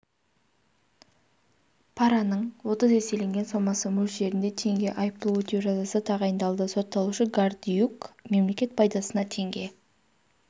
параның отыз еселенген сомасы мөлшерінде теңге айыппұл өтеу жазасы тағайындалды сотталушы гордиюк мемлекет пайдасына теңге